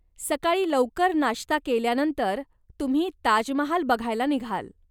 सकाळी लवकर नाष्ता केल्यानंतर तुम्ही ताजमहाल बघायला निघाल.